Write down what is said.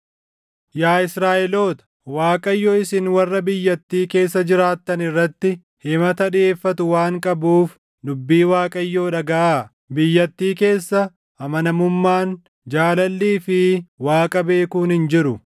Yaa Israaʼeloota, Waaqayyo isin warra biyyattii keessa jiraattan irratti himata dhiʼeeffatu waan qabuuf dubbii Waaqayyoo dhagaʼaa: “Biyyattii keessa amanamummaan, jaalallii fi Waaqa beekuun hin jiru.